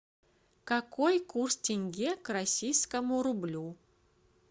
какой курс тенге к российскому рублю